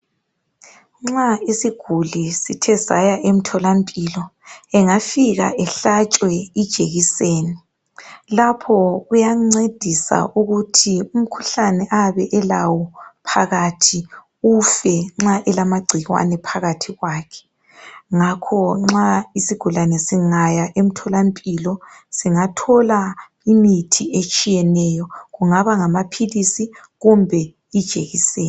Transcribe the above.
Nxa isiguli sithe saya emtholampilo. Engafike ahlatshwe ijekiseni, lapho kuyancedisa ukuthi umkhuhlane ayabe elawo phakathi, ufe, nxa elamagcikwane, phakathi kwakhe. Ngakho nxa isigulane singaya emtholampilo, singathola imithi etshiyeneyo. Kungaba ngamaphilisi, kumbe ijekiseni.